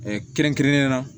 kɛrɛnkɛrɛnnen na